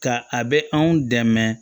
Ka a bɛ anw dɛmɛ